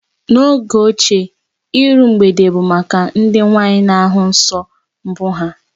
N'oge ochie, iru mgbede bụ maka ndị nwaanyị na ahụ nsọ mbụ ha